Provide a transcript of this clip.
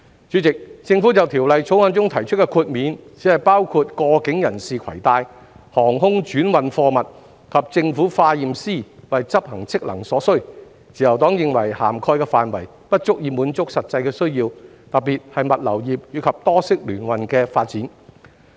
主席，政府在《條例草案》中提出的豁免，只包括過境人士攜帶、航空轉運貨物及政府化驗師為執行職能所需，自由黨認為涵蓋範圍不足以滿足實際需要，特別是物流業及多式聯運的發展。